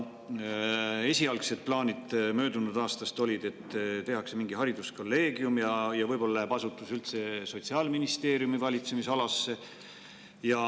Esialgsed plaanid möödunud aastast olid, et tehakse mingi hariduskolleegium ja võib-olla läheb asutus üldse Sotsiaalministeeriumi valitsemisalasse.